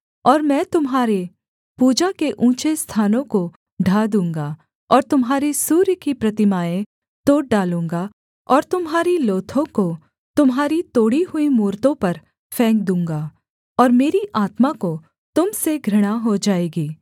और मैं तुम्हारे पूजा के ऊँचे स्थानों को ढा दूँगा और तुम्हारे सूर्य की प्रतिमाएँ तोड़ डालूँगा और तुम्हारी लोथों को तुम्हारी तोड़ी हुई मूरतों पर फेंक दूँगा और मेरी आत्मा को तुम से घृणा हो जाएगी